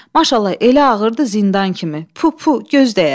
Maşallah, elə ağırdır, zindan kimi, pu, pu, göz dəyər.